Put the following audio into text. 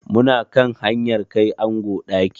Mu na kan hanyar kai ango ɗaki.